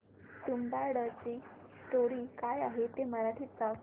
तुंबाडची स्टोरी काय आहे ते मराठीत सांग